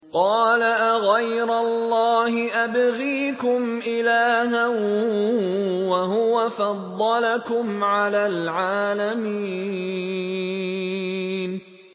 قَالَ أَغَيْرَ اللَّهِ أَبْغِيكُمْ إِلَٰهًا وَهُوَ فَضَّلَكُمْ عَلَى الْعَالَمِينَ